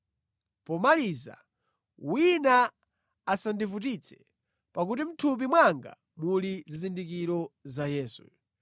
Pomaliza wina asandivutitse, pakuti mʼthupi mwanga muli zizindikiro za Yesu.